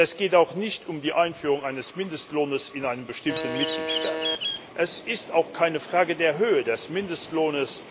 Und es geht auch nicht um die Einführung eines Mindestlohns in einem bestimmten Mitgliedstaat. Es ist auch keine Frage der Höhe des Mindestlohns.